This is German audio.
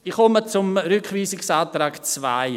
Ich komme zum Rückweisungsantrag 2.